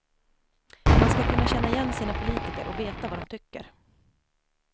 Man ska kunna känna igen sina politiker och veta vad de tycker.